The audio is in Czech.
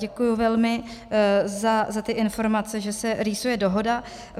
Děkuji velmi za ty informace, že se rýsuje dohoda.